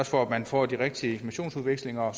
for at man får de rigtige missionsudvekslinger og